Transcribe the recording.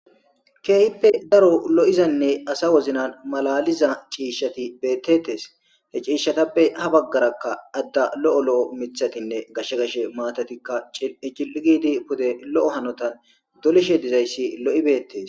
keehippe daro lo7izanne asa woznan malaliza ciishshati bettetes he ciishshatappe ha baggarakka adda lo7o lo7o mithatinne gashsh gashe maatatikka cici7igidi pude lo7o hanotan dolishe dizayssi lo7i beettes.